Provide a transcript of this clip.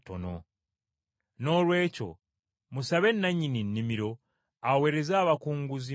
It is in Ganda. Noolwekyo musabe nannyini nnimiro, aweereze abakozi mu nnimiro ye.”